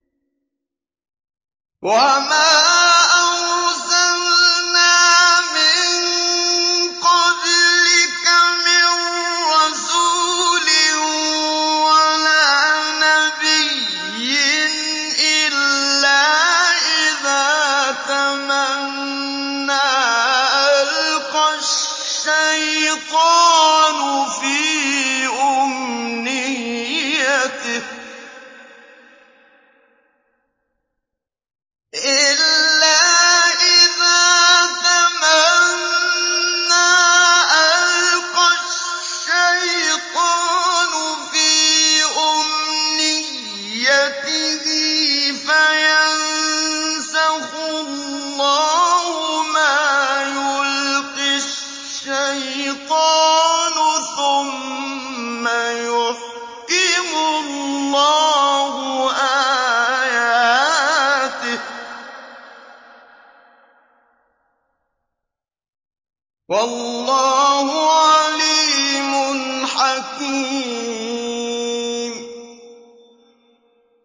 وَمَا أَرْسَلْنَا مِن قَبْلِكَ مِن رَّسُولٍ وَلَا نَبِيٍّ إِلَّا إِذَا تَمَنَّىٰ أَلْقَى الشَّيْطَانُ فِي أُمْنِيَّتِهِ فَيَنسَخُ اللَّهُ مَا يُلْقِي الشَّيْطَانُ ثُمَّ يُحْكِمُ اللَّهُ آيَاتِهِ ۗ وَاللَّهُ عَلِيمٌ حَكِيمٌ